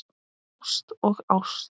Ást og ást.